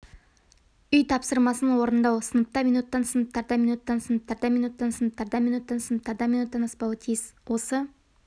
үй тапсырмасын орындау сыныпта минуттан сыныптарда минуттан сыныптарда минуттан сыныптарда минуттан сыныптарда минуттан аспауы тиіс осы